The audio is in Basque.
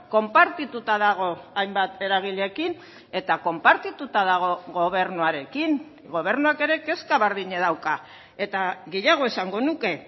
konpartituta dago hainbat eragileekin eta konpartituta dago gobernuarekin gobernuak ere kezka berdina dauka eta gehiago esango nuke